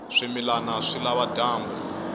swimilana swi lava dyambu